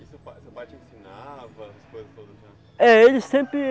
E seu pai te ensinava as coisas todos os anos?